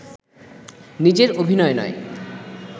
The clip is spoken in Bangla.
নিজের অভিনয় নয়